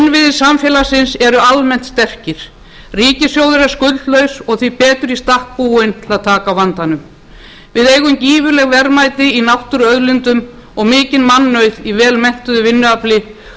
innviðir samfélagsins eru almennt sterkir ríkissjóður er skuldlaus og því betur í stakk búinn til að taka á vandanum við eigum gífurleg verðmæti í náttúruauðlindum og mikinn mannauð í velmenntuðu vinnuafli og öfluga